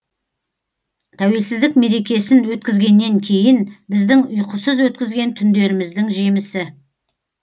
тәуелсіздік мерекесін өткізгеннен кейін біздің ұйқысыз өткізген түндеріміздің жемісі